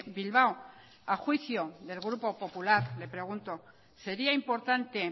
bilbao a juicio del grupo popular le pregunto sería importante